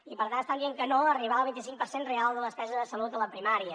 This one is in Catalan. i per tant estan dient que no a arribar al vint i cinc per cent real de la despesa de salut a la primària